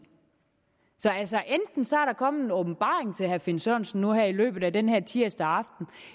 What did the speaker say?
så der kommet en åbenbaring til herre finn sørensen nu her i løbet af den her tirsdag aften